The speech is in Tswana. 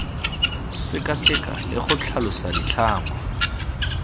sekaseka le go tlhalosa ditlhangwa